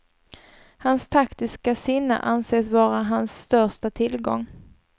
Hans taktiska sinne anses vara hans största tillgång.